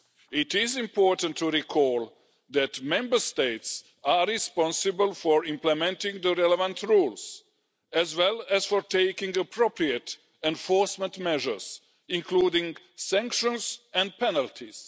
It is important to recall that Member States are responsible for implementing the relevant rules, as well as for taking appropriate enforcement measures, including sanctions and penalties.